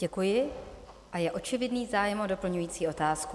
Děkuji a je očividný zájem o doplňující otázku.